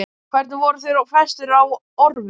Hvernig voru þeir festir á orfin?